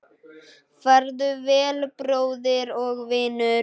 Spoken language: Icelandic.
Farðu vel, bróðir og vinur.